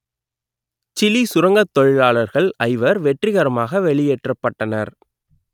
Chile சுரங்கத் தொழிலாளர்கள் ஐவர் வெற்றிகரமாக வெளியேற்றப்பட்டனர்